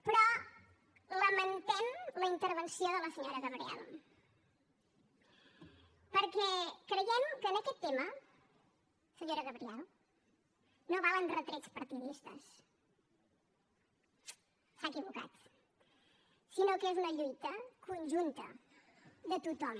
però lamentem la intervenció de la senyora gabriel perquè creiem que en aquest tema senyora gabriel no valen retrets partidistes s’ha equivocat sinó que és una lluita conjunta de tothom